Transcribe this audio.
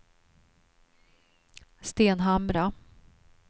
Stenhamra